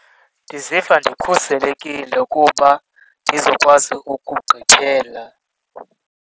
Ndiziva ndikhuselekile kuba ndizokwazi ukugqithela.